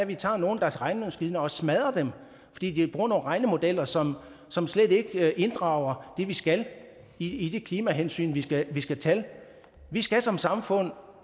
vi tager nogle af deres regnemaskiner og smadrer dem fordi de bruger nogle regnemodeller som som slet ikke inddrager det vi skal i de klimahensyn vi skal skal tage vi skal som samfund